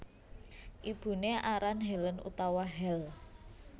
Ibuné aran Helen utawa Hel